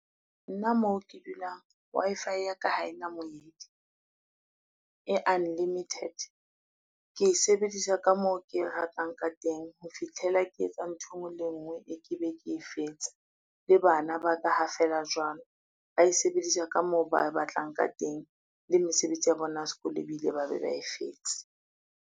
Nna moo ke dulang Wi-Fi ya ka, ha e na moedi e unlimited. Ke e sebedisa ka moo ke e ratang ka teng ho fitlhela ke etsa e ngwe le e ngwe e ke be ke fetsa le bana ba ka ha felela jwalo, ba e sebedisa ka moo ba batlang ka teng le mesebetsi ya bona ya sekolo be bile ba be ba e fetse.